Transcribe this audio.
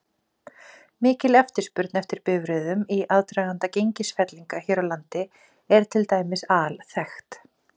Mikil eftirspurn eftir bifreiðum í aðdraganda gengisfellinga hér á landi er til dæmis alþekkt.